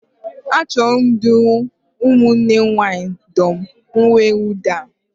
Achọrọ m ịdụrụ ụmụnne m nwaanyị dum uwemwụda